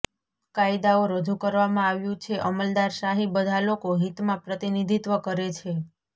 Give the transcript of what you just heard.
કાયદાઓ રજૂ કરવામાં આવ્યું છે અમલદારશાહી બધા લોકો હિતમાં પ્રતિનિધિત્વ કરે છે